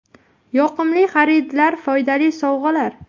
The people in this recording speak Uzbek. Yoqimli xaridlar foydali sovg‘alar!.